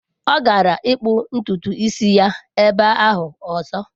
Ọ gara ịkpụ ntutu isi ya ebe ahụ ọzọ.